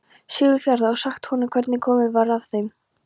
Siglufjarðar, og sagt honum hvernig komið var fyrir þeim hjónum.